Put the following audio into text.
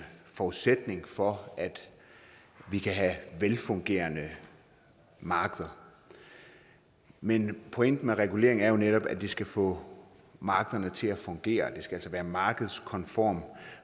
forudsætning for velfungerende markeder men pointen med regulering er jo netop at det skal få markederne til at fungere altså at det skal være markedskonform